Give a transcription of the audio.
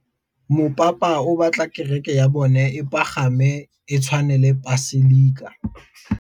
Mopapa o batla kereke ya bone e pagame, e tshwane le paselika.